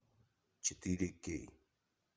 четыре кей